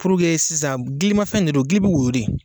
Purke sisan , giliimafɛn de don gili bɛ woyo de